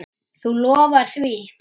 Þú lofar því?